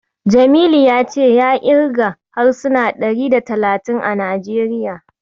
Jamilu ya ce ya ƙirga harsuna ɗari da talatin a Najeriya.